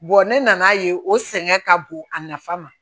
ne nan'a ye o sɛgɛn ka bon a nafa ma